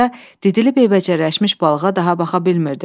Qoca didilib eybəcərləşmiş balığa daha baxa bilmirdi.